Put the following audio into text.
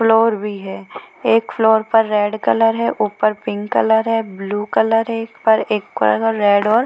floor भी है एक फ्लोर पर रेड कलर है ऊपर पिंक कलर है ब्लू कलर है एक पर एक पर है रेड और --